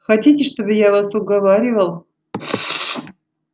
хотите чтобы я вас уговаривал